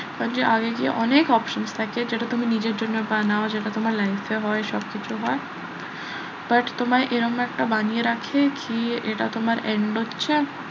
আগে গিয়ে অনেক options থাকে যেটা তুমি নিজের জন্য বানাও যেটা তোমার life এ হয় সবকিছু হয় but তোমরা এরকম একটা বানিয়ে রাখে কি এটা তোমার end হচ্ছে।